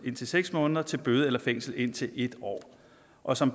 indtil seks måneder til bøde eller fængsel i indtil en år og som